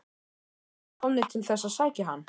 Voru þeir komnir til þess að sækja hann?